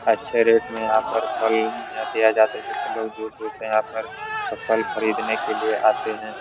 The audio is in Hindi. अच्छे रेट में यहाँ पर फल दिया जाता है। जिससे लोग दूर-दूर से यहाँ पर फल खरीदने आते है।